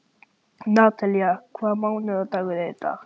Natalía, hvaða mánaðardagur er í dag?